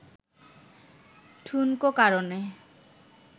ঠুনকো কারণে